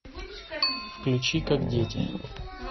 включи как дети